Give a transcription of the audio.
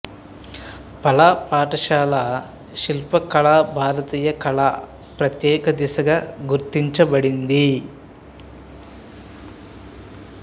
పాలా పాఠశాల శిల్ప కళ భారతీయ కళ ప్రత్యేక దశగా గుర్తించబడింది